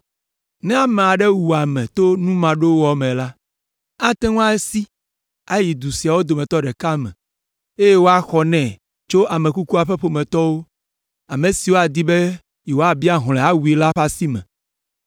Ne ame aɖe wu ame to nu maɖowɔ me la, ate ŋu asi ayi du siawo dometɔ ɖeka me, eye woaxɔ nɛ tso ame kukua ƒe ƒometɔwo, ame siwo adi be yewoabia hlɔ̃ awui la ƒe asi me.